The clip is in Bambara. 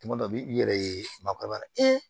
Tuma dɔ b'i yɛrɛ ye maakɔrɔba